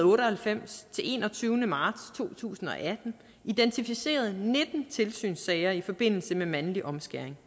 otte og halvfems til den enogtyvende marts to tusind og atten identificeret nitten tilsynssager i forbindelse med mandlig omskæring